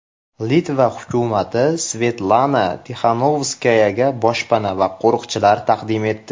Litva hukumati Svetlana Tixanovskayaga boshpana va qo‘riqchilar taqdim etdi.